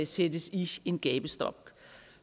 sættes i en gabestok